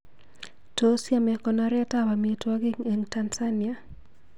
Tos yame konoret ab amitwogik eng Tansania